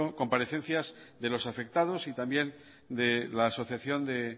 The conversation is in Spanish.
comparecencias de los afectados y también de la asociación de